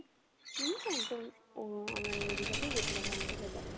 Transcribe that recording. ও আমরা old দিঘাতে গেছিলাম new দিঘাতে যায়নি